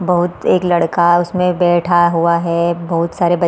बहुत एक लड़का उसमें बैठा हुआ है बहुत सारे बच --